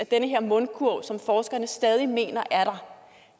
den her mundkurv som forskerne stadig mener er der